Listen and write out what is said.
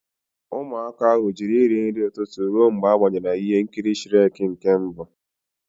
Ụmụaka ahụ jụrụ iri nri tutu ruo mgbe a gbenyere ha ihe nkiri Shrek nke mbụ.